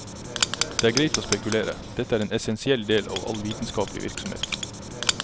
Det er greit å spekulere, dette er en essensiell del av all vitenskaplig virksomhet.